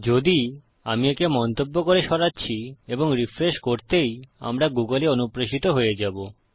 যদি আমি একে মন্তব্য করে সরাচ্ছি এবং রিফ্রেশ করতেই আমরা গুগল এ অনুপ্রেশিত হয়ে যাবো